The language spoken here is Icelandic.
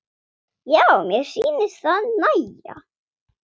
Já, mér sýnist það nægja!